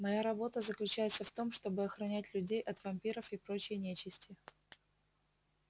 моя работа заключается в том чтобы охранять людей от вампиров и прочей нечисти